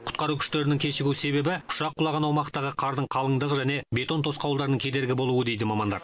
құтқару күштерінің кешігу себебі ұшақ құлаған аумақтағы қардың қалыңдығы және бетон тосқауылдарының кедергі болуы дейді мамандар